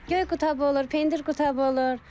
Göy qutabı olur, pendir qutabı olur.